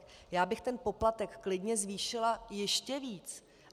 Já bych ten poplatek klidně zvýšila ještě víc.